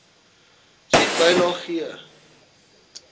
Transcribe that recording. sien bylaag g